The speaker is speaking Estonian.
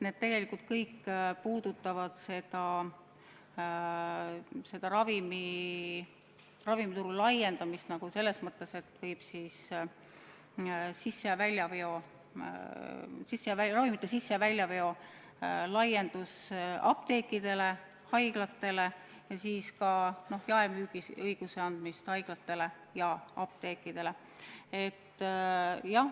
Need tegelikult kõik puudutavad ravimituru laiendamist selles mõttes, et eesmärk on laiendada ravimite sisse- ja väljaveo õigusi, andes apteekidele ja haiglatele ka jaemüügiõiguse.